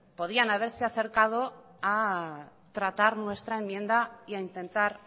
podían haberse acercado a tratar nuestra enmienda y a intentar